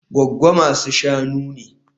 Gwaggo masu-shanu ne